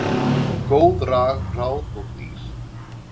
Góð ráð og dýr